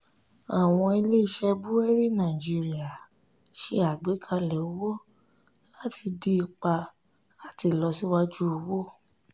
àwọn ilé-iṣẹ́ búwérì nàìjíríà ṣe àgbékalẹ̀ owó láti dín ipa àti ìlọsíwájú owó.